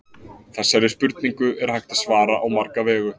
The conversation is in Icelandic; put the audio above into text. Þessari spurningu er hægt að svara á marga vegu.